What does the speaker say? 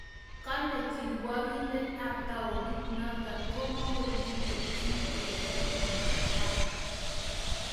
Kole kirwakindet ab taonit notok komokomi kelchin keyai tumatak